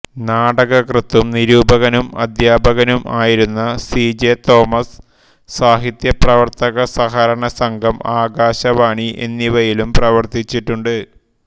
നാടകകൃത്തും നിരൂപകനും അധ്യാപകനും ആയിരുന്ന സി ജെ തോമസ് സാഹിത്യ പ്രവർത്തക സഹകരണ സംഘം ആകാശവാണി എന്നിവയിലും പ്രവർത്തിച്ചിട്ടുണ്ട്